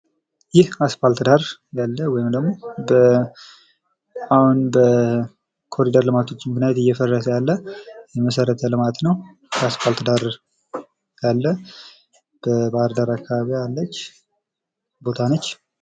ይህ አስፓልት ዳር ያለ ወይም ደግሞ በአሁን በኮሪደር ልማቶችም ብንሄድ እየፈረሰ ያለ የመሰረተ ልማት ነው። አስፓልት ዳር ያለ በባህር ዳር አካባቢ ያለች ቦታ ነች።